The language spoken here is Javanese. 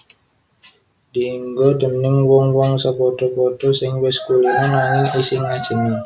Dienggo déning wong wong sapadha padha sing wis kulina nanging isih ngajèni